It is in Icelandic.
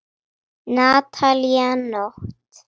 Natalía Nótt.